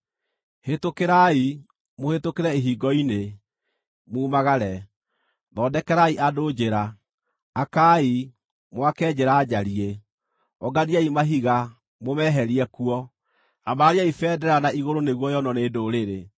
Hĩtũkĩrai, mũhĩtũkĩre ihingo-inĩ, mumagare! Thondekerai andũ njĩra. Akaai, mwake njĩra njariĩ! Ũnganiai mahiga, mũmeherie kuo. Ambarariai bendera na igũrũ nĩguo yonwo nĩ ndũrĩrĩ.